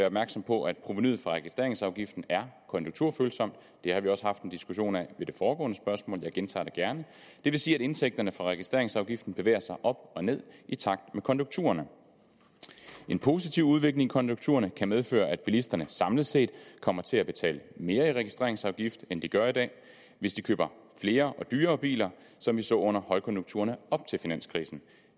opmærksom på at provenuet for registreringsafgiften er konjunkturfølsomt det har vi også haft en diskussion af ved det foregående spørgsmål jeg gentager det gerne og det vil sige at indtægterne fra registreringsafgiften bevæger sig op og ned i takt med konjunkturerne en positiv udvikling i konjunkturerne kan medføre at bilisterne samlet set kommer til at betale mere i registreringsafgift end de gør i dag hvis de køber flere og dyrere biler som vi så under højkonjunkturen op til finanskrisen